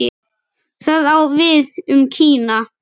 Það á við um Kína.